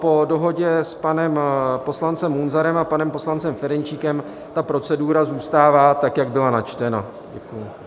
Po dohodě s panem poslancem Munzarem a panem poslancem Ferjenčíkem ta procedura zůstává tak, jak byla načtena.